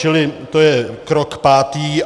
Čili to je krok pátý.